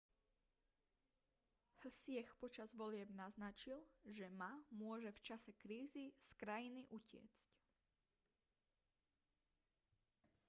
hsieh počas volieb naznačil že ma môže v čase krízy z krajiny utiecť